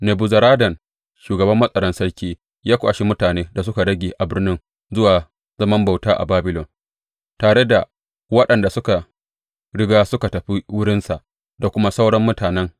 Nebuzaradan shugaban matsaran sarki ya kwashi mutanen da suka rage a birnin zuwa zaman bauta a Babilon, tare da waɗanda suka riga suka tafi wurinsa, da kuma sauran mutanen.